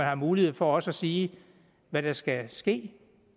har mulighed for også at sige hvad der skal ske